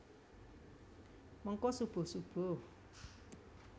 Mengko subuh subuh